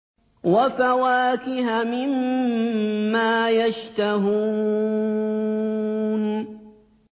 وَفَوَاكِهَ مِمَّا يَشْتَهُونَ